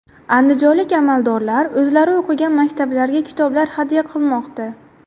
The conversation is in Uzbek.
Andijonlik amaldorlar o‘zlari o‘qigan maktablarga kitoblar hadya qilmoqda.